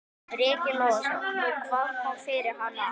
Breki Logason: Nú, hvað kom fyrir hana?